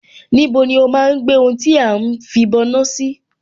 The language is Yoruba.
Níbo ni ó máa ń gbé ohun tí à ń fìbọná sí?